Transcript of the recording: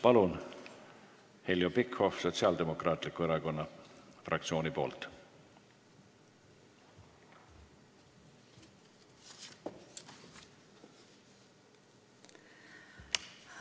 Palun, Heljo Pikhof Sotsiaaldemokraatliku Erakonna fraktsiooni nimel!